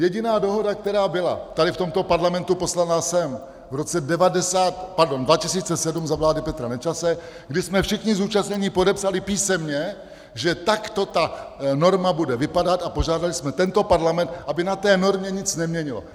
Jediná dohoda, která byla tady v tomto parlamentu poslaná sem v roce 2007 za vlády Petra Nečase, kdy jsme všichni zúčastnění podepsali písemně, že takto ta norma bude vypadat, a požádali jsme tento parlament, aby na té normě nic neměnil.